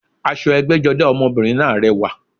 Aṣọ ẹgbẹ́jọdá ọmọbìnrin náà rẹwà